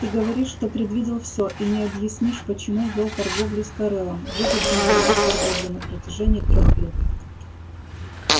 ты говоришь что предвидел все и не объяснишь почему вёл торговлю с корелом выгодную для нас торговлю на протяжении трёх лет